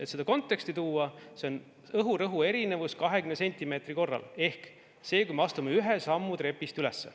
Et seda konteksti tuua: see on õhurõhu erinevus 20 sentimeetri korral, ehk sel puhul, kui me astume ühe sammu trepist üles.